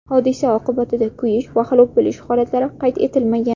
Hodisa oqibatida kuyish va halok bo‘lish holatlari qayd etilmagan.